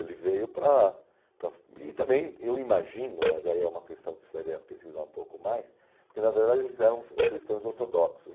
Ele veio para para... E também, eu imagino, mas aí é uma questão que precisaria pesquisar um pouco mais, porque, na verdade, eles eram cristãos ortodoxos.